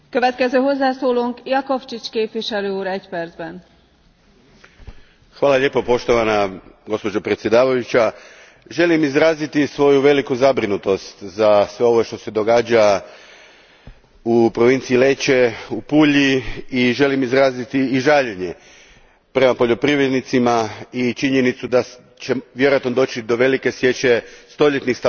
Gospođo predsjednice, želim izraziti svoju veliku zabrinutost zbog svega ovoga što se događa u provinciji Lecce u Apuliji i želim izraziti žaljenje prema poljoprivrednicima i zbog činjenice da će vjerojatno doći do velike sječe stoljetnih stabala maslina, time i mijenjanja pejzaža, ali i ono što je ekonomija tih ljudi koji žive od toga.